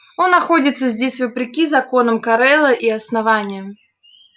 он находится здесь вопреки законам корела и основания